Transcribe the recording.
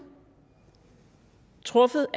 truffet